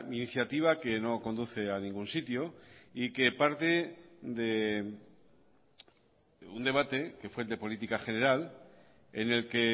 iniciativa que no conduce a ningún sitio y que parte de un debate que fue el de política general en el que